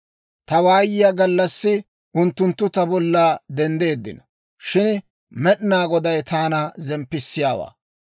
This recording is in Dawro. Ta waayiyaa gallassi unttunttu ta bolla denddeeddino; shin Med'inaa Goday taana zemppissiyaawaa.